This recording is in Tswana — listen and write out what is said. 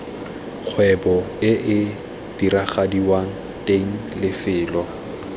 kgwebo ee diragadiwang teng lefelo